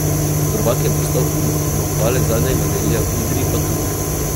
Prvak je postal Humar, zmagovalec zadnjega relija v Idriji pa Turk.